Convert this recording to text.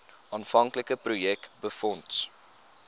aanvanklike projek befonds